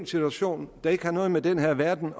situation der ikke har noget med den her verden